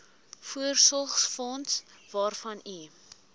voorsorgsfonds waarvan u